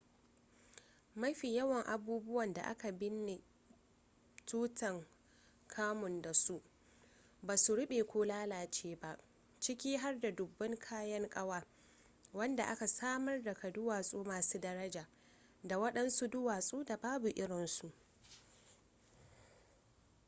mafi yawan abubuwan da aka binne tutankhamun da su basu rube ko lalace ba ciki har da dubban kayan kawa wadanda aka samar daga duwatsu masu daraja da wadansu duwatsu da babu irinsu